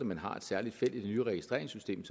man har et særligt felt i det nye registreringssystem